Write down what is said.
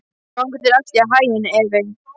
Gangi þér allt í haginn, Evey.